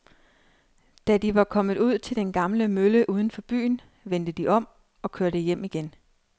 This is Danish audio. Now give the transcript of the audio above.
Da de var kommet ud til den gamle mølle uden for byen, vendte de om og kørte hjem igen.